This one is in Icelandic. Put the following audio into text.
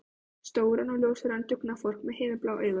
Stóran og ljóshærðan dugnaðarfork með himinblá augu.